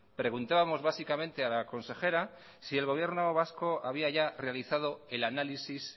preguntábamos básicamente a la consejera si el gobierno vasco había ya realizado el análisis